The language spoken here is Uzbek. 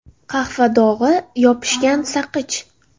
Qahva dog‘i, yopishgan saqich.